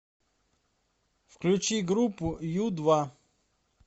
включи группу ю два